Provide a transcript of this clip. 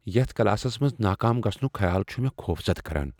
یتھ کلاسس منٛز ناکام گژھنک خیال چھ مےٚ خوفزدٕ کران۔